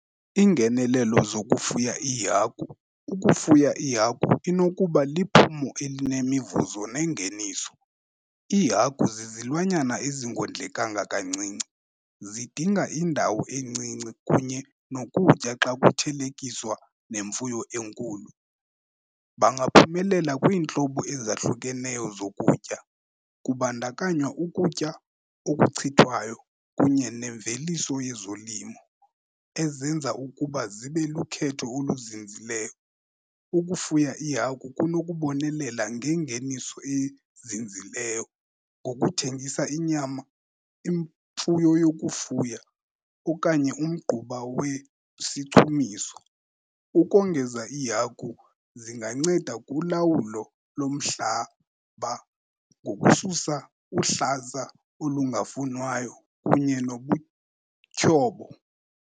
Iingenelelo zokufuya iihagu, ukufuya iihagu inokuba liphumo elinemivuzo nengeniso. Iihagu zizilwanyana ezingondlekanga kancinci, zidinga indawo encinci kunye nokutya xa kuthelekiswa nemfuyo enkulu. Bangaphumelela kwiintlobo ezahlukeneyo zokutya kubandakanywa ukutya okuchithwayo kunye nemveliso yezolimo ezenza ukuba zibe lukhetho oluzinzileyo. Ukufuya iihagu kunokubonelela ngengeniso ezinzileyo ngokuthengisa inyama, imfuyo yokufuya okanye umgquba wesichumiso. Ukongeza, iihagu zinganceda kulawulo lomhlaba ngokususa uhlaza olungafunwayo kunye nobutyhobo.